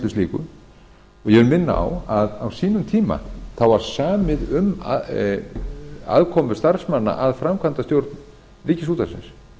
ég vil minna á að á sínum tíma var samið um aðkomu starfsmanna að framkvæmdastjórn ríkisútvarpsins